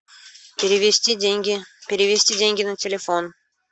перевести деньги перевести деньги на телефон